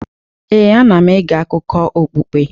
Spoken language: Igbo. Ee, ana m ege akụkọ okpukpe.